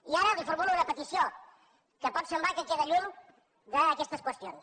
i ara li formulo una petició que pot semblar que queda lluny d’aquestes qüestions